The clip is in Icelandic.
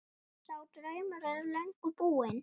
Sá draumur er löngu búinn.